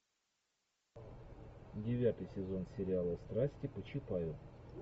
девятый сезон сериала страсти по чапаю